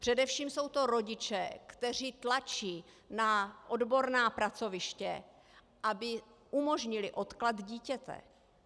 Především jsou to rodiče, kteří tlačí na odborná pracoviště, aby umožnily odklad dítěte.